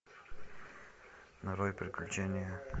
нарой приключения